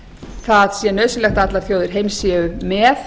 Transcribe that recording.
það sé nauðsynlegt að allar þjóðir heims séu með